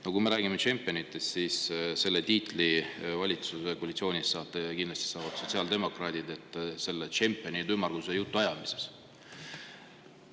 No kui me räägime tšempionitest, siis valitsuskoalitsioonis saavad selle tiitli kindlasti sotsiaaldemokraadid, tšempionid ümmarguse jutu ajamises.